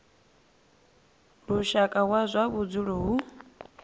lushaka wa zwa vhudzulo hu